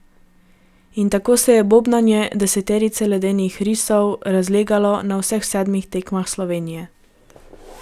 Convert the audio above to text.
In tako se je bobnanje deseterice ledenih risov razlegalo na vseh sedmih tekmah Slovenije.